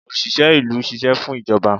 osìsé ìlú sìsé fún ijobà.